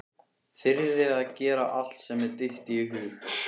Þyrði að gera allt sem mér dytti í hug.